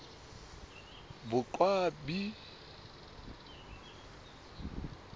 boqwabi